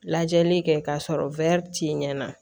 Lajɛli kɛ k'a sɔrɔ t'i ɲɛ na